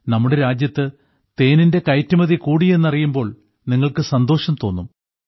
നമ്മുടെ രാജ്യത്ത് തേനിന്റെ കയറ്റുമതി കൂടി എന്നറിയുമ്പോൾ നിങ്ങൾക്ക് സന്തോഷം തോന്നും